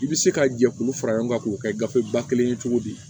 I bɛ se ka jɛkulu fara ɲɔgɔn kan k'o kɛ gafe ba kelen ye cogo di